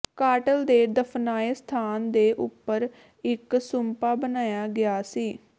cartel ਦੇ ਦਫ਼ਨਾਏ ਸਥਾਨ ਦੇ ਉਪਰ ਇਕ ਸੁੰਪਾ ਬਣਾਇਆ ਗਿਆ ਸੀ